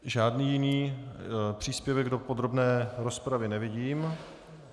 Žádný jiný příspěvek do podrobné rozpravy nevidím.